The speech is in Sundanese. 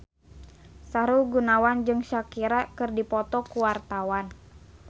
Sahrul Gunawan jeung Shakira keur dipoto ku wartawan